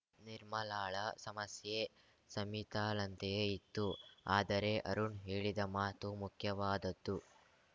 ನಿರ್ಮಲಾಳ ಸಮಸ್ಯೆ ಸಮಿತಾಳಂತೆಯೇ ಇತ್ತು ಆದರೆ ಅರುಣ್‌ ಹೇಳಿದ ಮಾತು ಮುಖ್ಯವಾದದ್ದು